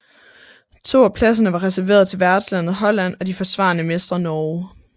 To af pladserne var reserveret til værtslandet Holland og de forsvarende mestre Norge